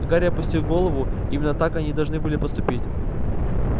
гарри опустил голову именно так они должны были поступить